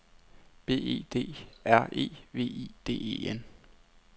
B E D R E V I D E N